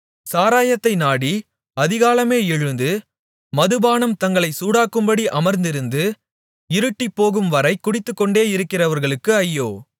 சாராயத்தை நாடி அதிகாலமே எழுந்து மதுபானம் தங்களைச் சூடாக்கும்படி அமர்ந்திருந்து இருட்டிப்போகும்வரை குடித்துக்கொண்டேயிருக்கிறவர்களுக்கு ஐயோ